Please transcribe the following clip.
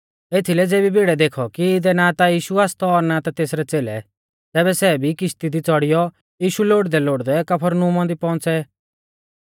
एथीलै ज़ेबी भिड़ै देखौ कि इदै ना ता यीशु आसतौ और ना ता तेसरै च़ेलै तैबै सै भी किश्ती दी च़ौड़ियौ यीशु लोड़दैलोड़दै कफरनहूमा दी पहुंच़ै